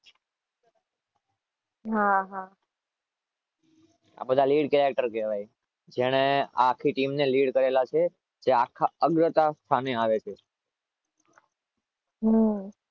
હા હા